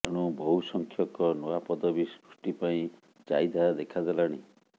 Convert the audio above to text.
ଏଣୁ ବହୁସଂଖ୍ୟକ ନୂଆ ପଦବି ସୃଷ୍ଟି ପାଇଁ ଚାହିଦା ଦେଖାଦେଲାଣି